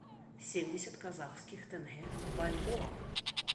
семьдесят казахских тенге в бальбоа